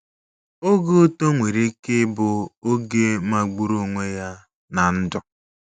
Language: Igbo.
OGE uto nwere ike ịbụ oge magburu onwe ya ná ndụ.